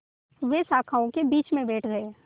वे शाखाओं के बीच में बैठ गए